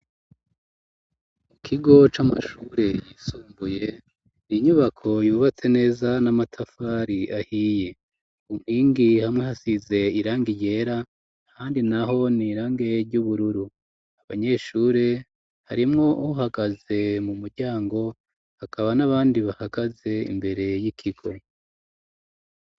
Mu kigo c'amashure yisumbuye n'inyubako yubatse neza n'amatafari ahiye, inkingi hamwe hasize irangi ryera ahandi naho n'irange ry'ubururu abanyeshure harimwo uwuhagaze mu mumuryango hakaba n'abandi bahagaze imbere y'ikigo.